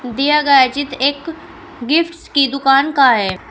दिया गया चित्र एक गिफ्ट्स की दुकान का है।